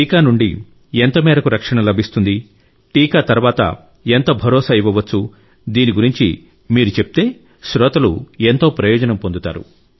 టీకా నుండి ఎంతమేరకు రక్షణ లభిస్తుంది టీకా తర్వాత ఎంత భరోసా ఇవ్వవచ్చు దీని గురించి మీరు చెప్తే శ్రోతలు ఎంతో ప్రయోజనం పొందుతారు